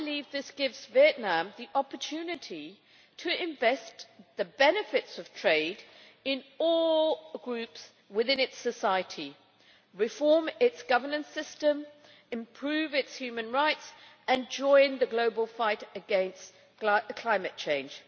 I believe this gives Vietnam the opportunity to invest the benefits of trade for all groups within its society, reform its governance system, improve its human rights and join the global fight against climate change.